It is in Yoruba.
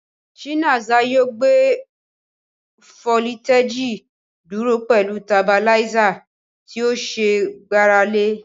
Chinaza yóò gbé fólítèjì dúró pẹ̀lú tabiláísà tí ó ṣe é gbára lé.